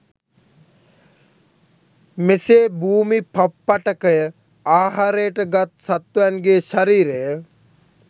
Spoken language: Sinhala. මෙසේ භූමිපප්පටකය ආහාරයට ගත් සත්වයන්ගේ ශරීරය